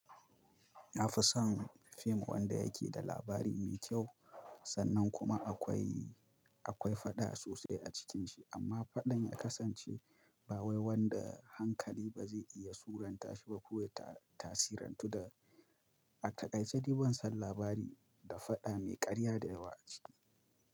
Na fi son fim wanda yake da labari me kyau sannan kuma akwai, akwai faɗa sosai a cikinshi amma faɗan ya kasance ba wai wanda hankali ba zai iya suranta shi ba ko ya tasirantu da a taƙaice dai ban san labari da faɗa mai ƙarya da yawa a ciki.